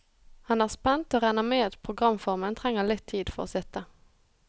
Han er spent, og regner med at programformen trenger litt tid for å sitte.